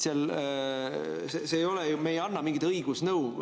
Me ei anna mingit õigusnõu.